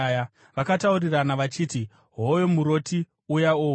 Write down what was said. Vakataurirana vachiti, “Hoyo muroti uya ouya!